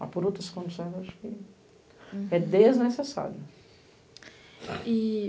Mas, por outras condições, acho que é desnecessário.